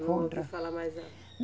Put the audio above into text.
Não ouvi falar mais nada.